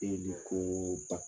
ko